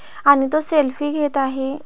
आणि तो सेल्फी घेत आहे.